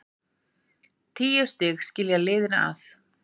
Tíu stig skilja liðin að.